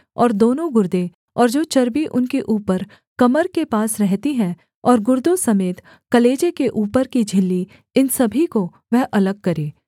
और दोनों गुर्दे और जो चर्बी उनके ऊपर कमर के पास रहती है और गुर्दों समेत कलेजे के ऊपर की झिल्ली इन सभी को वह अलग करे